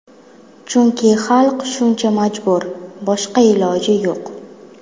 Chunki xalq shuncha majbur, boshqa iloji yo‘q.